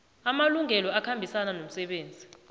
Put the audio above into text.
amalungelo akhambisana nomsebenzi